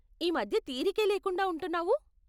ఈ మధ్య తీరికే లేకుండా ఉంటున్నావు?